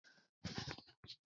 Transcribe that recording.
Yaushe abincin zai kammala?